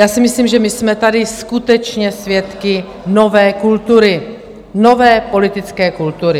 Já si myslím, že my jsme tady skutečně svědky nové kultury, nové politické kultury.